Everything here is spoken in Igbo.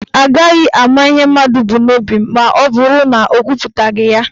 Agaghị ama ihe mmadụ bụ n'obi maọbụrụ na ọ kwuputaghị ya.